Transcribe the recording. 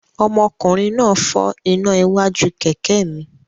Ọmọkùnrin náà fọ́ iná iwájú kẹ̀kẹ́ mi.